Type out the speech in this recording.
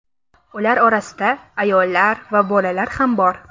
Ular orasida ayollar va bolalar ham bor.